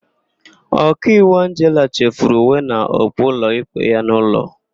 Ọkaiwu Angela chefuru uwe na okpu ụlọikpe ya n'ụlọ.